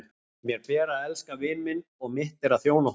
Mér ber að elska vin minn og mitt er að þjóna honum.